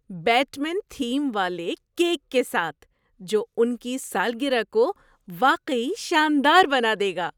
Bat مین theme والے cake کے ساتھ جو ان کی سالگرہ کو واقعی شاندار بنا دے گا!